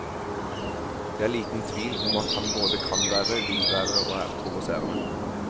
Det er liten tvil om at han både kan være, vil være og er provoserende.